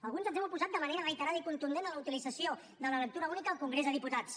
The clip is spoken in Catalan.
alguns ens hem oposat de manera reiterada i contundent a la utilització de la lectura única al congrés dels diputats